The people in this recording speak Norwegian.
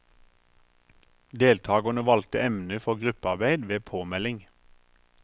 Deltakerne valgte emne for gruppearbeid ved påmelding.